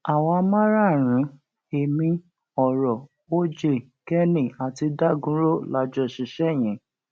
àwa márààrún ẹmí ọrọ oj kenny àti dagunro la jọ ṣiṣẹ yẹn